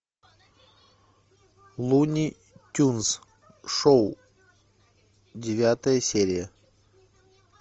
луни тюнз шоу девятая серия